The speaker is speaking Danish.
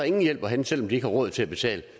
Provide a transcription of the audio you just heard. ingen hjælp at hente selv om de ikke har råd til at betale